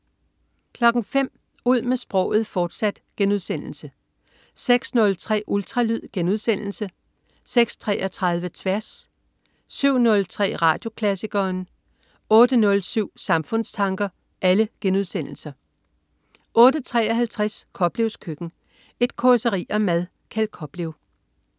05.00 Ud med sproget, fortsat* 06.03 Ultralyd* 06.33 Tværs* 07.03 Radioklassikeren* 08.07 Samfundstanker* 08.53 Koplevs Køkken. Et causeri om mad. Kjeld Koplev